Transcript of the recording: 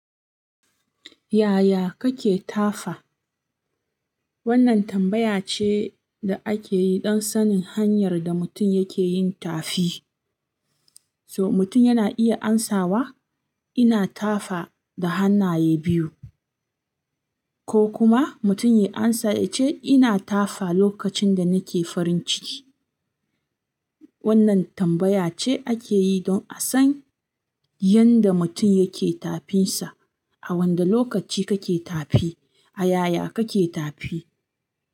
Yaya kake tafa? Wannan tambaya ce da akeyi don sanin hanyar da mutum yake yin tafi. So mutum yana iya amsawa, ina tafa da hannaye biyu, ko kuma mutum ya amsa yace ina tafa lokacin da nake farin ciki. Wannan tambaya ce akeyi don a san yanda mutum yake tafinsa, a wanda lokaci kake tafi, a yaya kake tafi.